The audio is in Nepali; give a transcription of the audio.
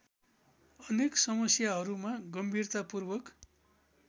अनेक समस्याहरूमा गम्भीरतापूर्वक